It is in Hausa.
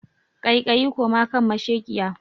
Kai kayi koma kan mashekiya